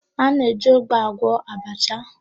A na-eji ụgba agwọ abacha.